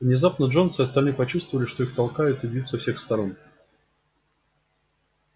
внезапно джонс и остальные почувствовали что их толкают и бьют со всех сторон